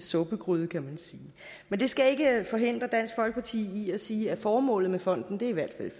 suppegryde kan man sige men det skal ikke forhindre dansk folkeparti i at sige at formålet med fonden i hvert fald